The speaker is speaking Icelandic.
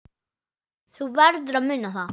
Þú verður að muna það.